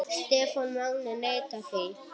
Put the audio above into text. Stefán Máni neitar því ekki.